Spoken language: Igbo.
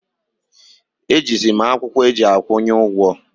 E ji zi mụ akwụkwọ eji akwụnye ụgwọ